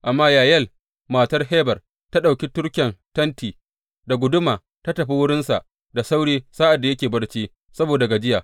Amma Yayel, matar Heber, ta ɗauki turken tenti da guduma ta tafi wurinsa da sauri sa’ad da yake barci saboda gajiya.